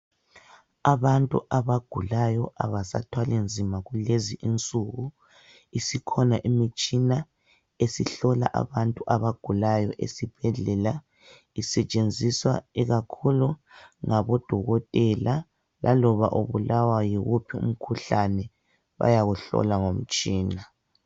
Abantu abagulayo abasathwalinzima. kulezinsuku isikhona imitshina besihlola abantu abagulayo esibhedlela isetshenziswa ikakhulu ngabodokotela laloba ubulawa yiwuphi umkhuhlane bayawuhlola ngomtshina.